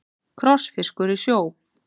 Krossfiskur í sjó.